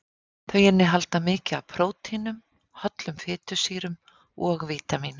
Þau innihalda mikið af prótínum, hollum fitusýrum og vítamínum.